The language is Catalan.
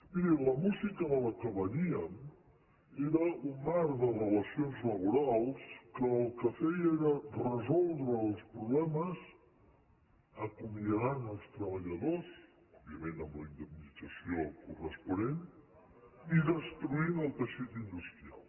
miri la música de la qual veníem era un marc de relacions la·borals que el que feia era resoldre els problemes aco·miadant els treballadors òbviament amb la indem·nització corresponent i destruint el teixit industrial